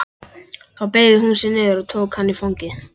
Þá beygði hún sig niður og tók hann í fangið.